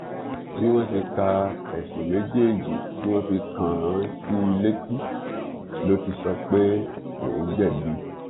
bí wọn ṣe ka ẹsùn méjèèjì tí wọn fi kàn án sí i létí ló ti sọ pé òun jẹbi